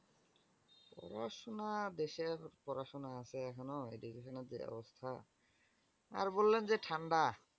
পড়াশুনা দেশের পড়াশুনা আছে এখনো এই revision অবধি ব্যাবস্থা আর বললেন যে ঠান্ডা।